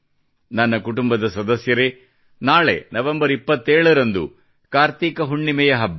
ನನ್ನ ಕುಟುಂಬದ ಜನರೇ ನಾಳೆ ನವೆಂಬರ್ 27 ರಂದು ಕಾರ್ತೀಕ ಹುಣ್ಣಿಮೆಯ ಹಬ್ಬ